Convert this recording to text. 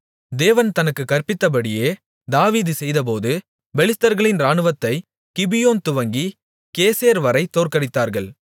தேவன் தனக்குக் கற்பித்தபடியே தாவீது செய்தபோது பெலிஸ்தர்களின் இராணுவத்தைக் கிபியோன் துவங்கிக் கேசேர்வரைத் தோற்கடித்தார்கள்